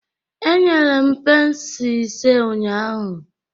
Enyere m pence ise ụnyahụ